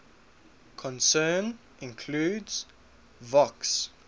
concern include vocs